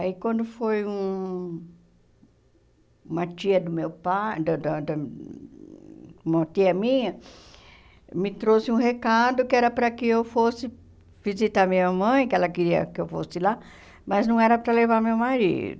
Aí quando foi hum uma tia do meu pai da da da uma tia minha, me trouxe um recado que era para que eu fosse visitar minha mãe, que ela queria que eu fosse lá, mas não era para levar meu marido.